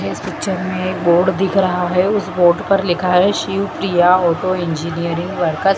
इस पिक्चर में एक बोर्ड दिख रहा है उस बोर्ड पर लिखा है Shiv Priya auto engineering workers.